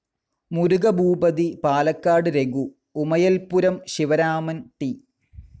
Murugabhoopathy, Palakkad Raghu, Umayalpuram Sivaraman, T.